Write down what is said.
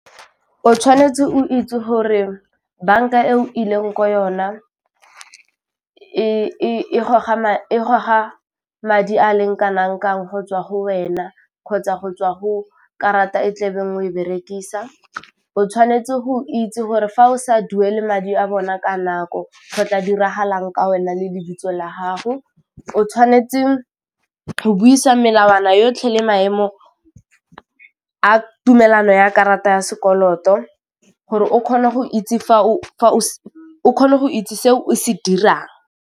O tshwanetse o itse gore banka e o ileng ko yona e goga madi a leng kanang kang go tswa go wena kgotsa go tswa go karata e tla beng o e berekisa, o tshwanetse go itse gore fa o sa duele madi a bona ka nako go tla diragalang ka wena le le bitso la gago, o tshwanetse go buisa melawana yotlhe le maemo a tumelano ya karata ya sekoloto gore o kgona go itse o kgone go itse seo o se dirang.